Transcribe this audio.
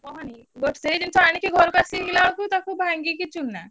କହନି but ସେଇ ଜିନିଷ ଆଣିକି ଘରୁକୁ ଆସିଲା ବେଳକୁ ତାକୁ ଭାଙ୍ଗିକି ଚୂନା।